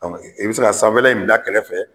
Dɔnku i be se ka sanfɛla bila kɛrɛfɛ